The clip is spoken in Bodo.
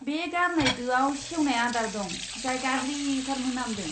बे गारनाय दोआव सेवनाय आदार दं, जाय गाज्रिथार मोनामदों।